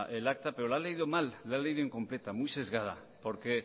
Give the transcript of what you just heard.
el acta pero la ha leído mal la ha leído incompleta muy sesgada porque